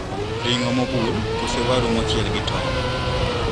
Ring`o mobul kose waru mochiel gi tong`?